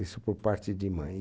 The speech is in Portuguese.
Isso por parte de mãe.